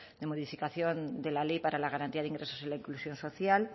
de modificación de la ley para la garantía de ingresos y la inclusión social